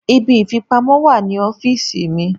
Ibi ìfipamọ́ wà ní ọ́fíìsì mi.